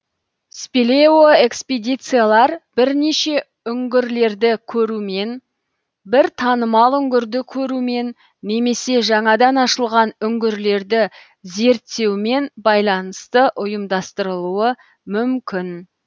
спелеоэкспедициялар бірнеше үңгірлерді көрумен бір танымал үңгірді көрумен немесе жаңадан ашылған үңгірлерді зерттеумен байланысты ұйымдастырылуы мүмкін